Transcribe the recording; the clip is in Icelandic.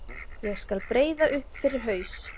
Ég skal breiða uppfyrir haus.